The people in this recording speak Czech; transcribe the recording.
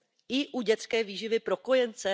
I u dětské výživy pro kojence?